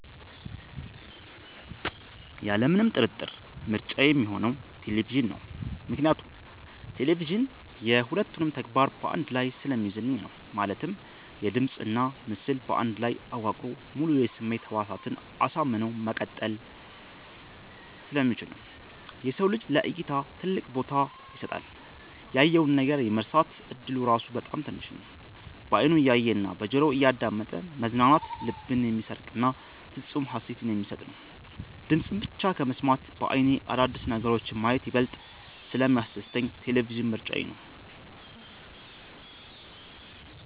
ያለምንም ጥርጥር ምርጫዬ ሚሆነው ቴሌቪዥን ነው። ምክንያቱም ቴሌቪዥን የ ሁለቱንም ተግባር በ አንድ ላይ ስለሚይዝልኝ ነው። ማለትም ድምጽና ምስል በአንድ ላይ አዋቅሮ ሙሉ የስሜት ህዋሳትን አሳምኖ መቀጠል ስለሚችል ነው። የሰው ልጅ ለ እይታ ትልቅ ቦታ ይሰጣል። ያየውን ነገር የመርሳት እድሉ ራሱ በጣም ትንሽ ነው። በ አይኑ እያየ እና በጆሮው እያዳመጠ መዝናናት ልብን የሚሰርቅና ፍፁም ሃሴትን የሚሰጥ ነው። ድምፅን ብቻ ከመስማት በ አይኔ አዳዲስ ነገሮችን ማየት ይበልጥ ስለሚያስደስተኝ ቴሌቪዥን ምርጫዬ ነው።